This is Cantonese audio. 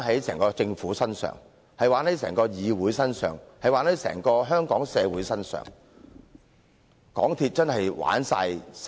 整個政府、整個議會，甚至是整個香港社會，均成了港鐵公司的玩弄對象。